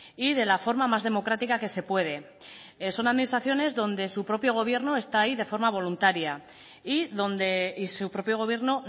y de la forma más democrática que se puede son administraciones donde su propio gobierno está ahí de forma voluntaria y donde y su propio gobierno